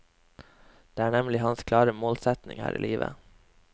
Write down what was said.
Det er nemlig hans klare målsetning her i livet.